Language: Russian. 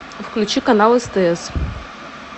включи канал стс